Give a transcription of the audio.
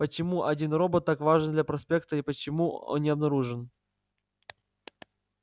почему один робот так важен для проекта и почему он не обнаружен